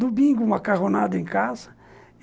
Domingo, macarronada em casa.